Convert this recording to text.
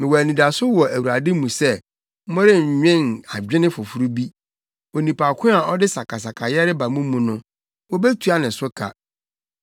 Mewɔ anidaso wɔ Awurade mu sɛ morennwen adwene foforo bi. Onipa ko a ɔde sakasakayɛ reba mo mu no, wobetua ne so ka.